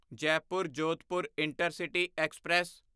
Jaipur Jodhpur intercity express